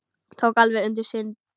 Tók alveg undir sig stökk!